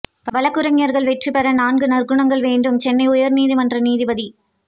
வழக்குரைஞா்கள் வெற்றி பெற நான்கு நற்குணங்கள் வேண்டும்சென்னை உயா் நீதிமன்ற நீதிபதி